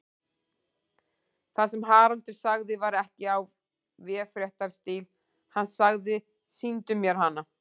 Það sem Haraldur sagði var ekki í véfréttarstíl, hann sagði: Sýndu mér hana.